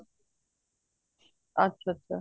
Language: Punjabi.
ਅੱਛਾ ਅੱਛਾ